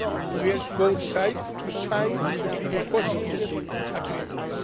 We urged both sides to sign the negotiated agreements.